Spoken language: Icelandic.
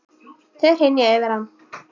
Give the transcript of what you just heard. Þau hrynja yfir hann.